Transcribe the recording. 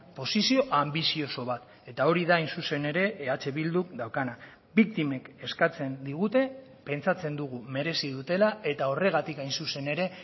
posizio anbizioso bat eta hori da hain zuzen ere eh bilduk daukana biktimek eskatzen digute pentsatzen dugu merezi dutela eta horregatik hain zuzen ere